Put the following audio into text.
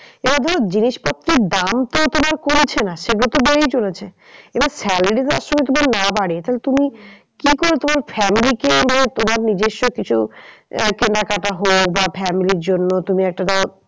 এবার ধরো জিনিস পত্রের দাম তো তোমার কমছে না সেগুলো তো বেড়েই চলেছে। এবার salary দেওয়ার সময় যদি না বারে তাহলে তুমি কি করে তোমার family কে ধরো তোমার নিজেস্ব কিছু আহ কেনাকাটা হোক বা family র জন্য তুমি একটা ধরো।